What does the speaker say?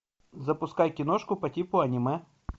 запускай киношку по типу аниме